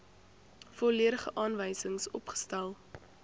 volledige aanwysings opgestel